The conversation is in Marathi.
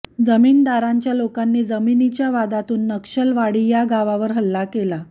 जमीनदारांच्या लोकांनी जमीनीच्या वादातून नक्षलवाडी या गावावर हल्ला केला